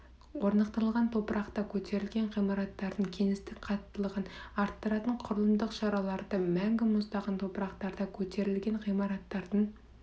орнықтылған топырақта көтерілген ғимараттардың кеңістік қаттылығын арттыратын құрылымдық шараларды мәңгі мұздаған топырақтарда көтерілген ғимараттардың